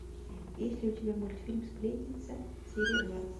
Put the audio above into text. есть ли у тебя мультфильм сплетница серия двадцать